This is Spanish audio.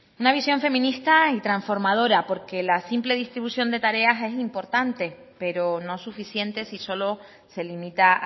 una visión feminista y trasformadora porque la simple distribución de tareas es importante pero no suficiente si solo se limita